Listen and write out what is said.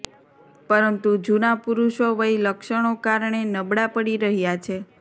પરંતુ જૂના પુરુષો વય લક્ષણો કારણે નબળા પડી રહ્યા છે